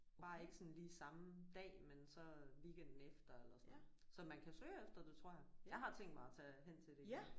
Bare ikke sådan lige samme dag men så weekenden efter eller sådan. Så man kan søge efter det tror jeg. Jeg har tænkt mig at tage hen til det igen